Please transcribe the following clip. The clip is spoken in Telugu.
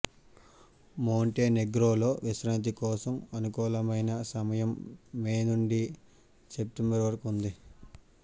మోంటెనెగ్రోలో విశ్రాంతి కోసం అనుకూలమైన సమయం మే నుండి సెప్టెంబరు వరకు ఉంది